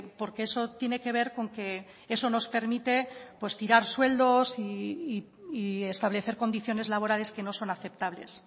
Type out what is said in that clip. porque eso tiene que ver con que eso nos permite tirar sueldos y establecer condiciones laborales que no son aceptables